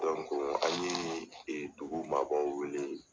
an ye dugu maa baw wele.